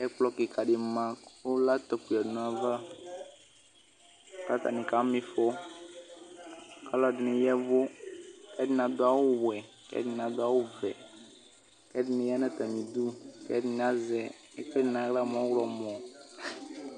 Ɛkplɔ kika dima kʋ latɔo yadʋ nʋ ayava kʋ atani kama ifɔ kʋ alʋɛdini ya ɛvʋ kʋ ɛdini adʋ awʋwɛ ɛdini adʋ awʋvɛ̵̵ kʋ ɛdini yanʋ atami idʋ kʋ ɛdini azɛ ɛkʋɛdi nʋ aɣla mʋ ɔwlɔmɔ